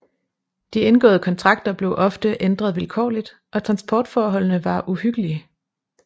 De indgåede kontrakter blev ofte ændret vilkårligt og transportforholdene var uhyggelige